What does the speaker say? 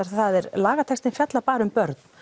það er lagatextinn fjallar bara um börn